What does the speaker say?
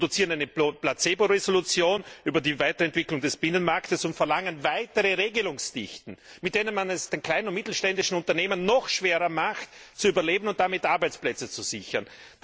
Wir produzieren eine Placebo Entschließung über die Weiterentwicklung des Binnenmarktes und verlangen weitere Regelungsdichten, mit denen man es den kleinen und mittelständischen Unternehmen noch schwerer macht, zu überleben und damit Arbeitsplätze zu sichern.